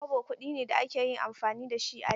Kobo kuɗi ne da aka yi amfani da shi a da.